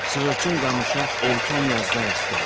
Sığırçın qamışa erkən yazda rast gəlmişdi.